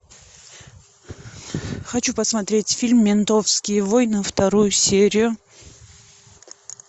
хочу посмотреть фильм ментовские войны вторую серию